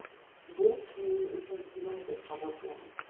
Bu mening uchun sinov deb qabul qilaman.